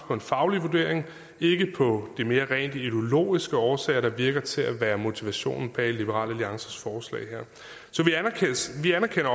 på en faglig vurdering ikke på de mere rent ideologiske årsager der virker til at være motivationen bag liberal alliances forslag her vi anerkender